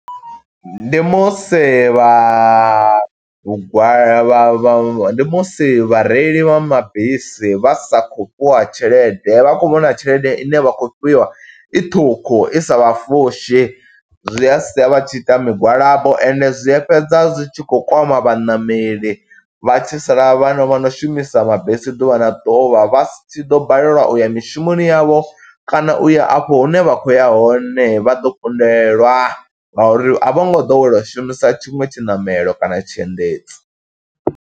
Ndi musi vha lugwa vha vha vha ndi musi vhareili vha mabisi, vha sa khou fhiwa tshelede. Vha khou vhona tshelede ine vha khou fhiwa, i ṱhukhu i sa vha fushi zwi a sia vha tshi ita migwalabo, ende zwi a fhedza zwi tshi khou kwama vhaṋameli, vha tshi sala vhana vha no shumisa mabisi ḓuvha na ḓuvha, vha si tshi ḓo balelwa uya mishumoni yavho. Kana uya afho hune vha khou ya hone, vha ḓo kundelwa. Nga uri a vho ngo ḓowela u shumisa tshiṅwe tshiṋamelo kana tshiendedzi.